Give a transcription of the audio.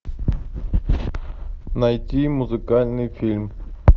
найти музыкальный фильм